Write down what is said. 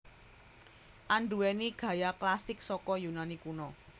Anduwèni gaya klasik saka Yunani Kuna